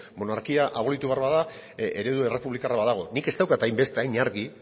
monarkia abolitu behar bada eredu errepublikarra badago nik ez daukat hain beste hain argi